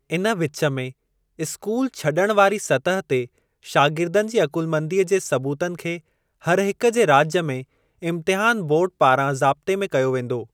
इन विच में, स्कूल छॾणु वारी सतह ते शागिर्दनि जी अकुलमंदीअ जे सबूतनि खे हरहिक जे राज्य में इम्तहान बोर्ड पारां ज़ाब्ते में कयो वेंदो।